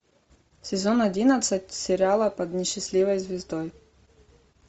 сезон одиннадцать сериала под несчастливой звездой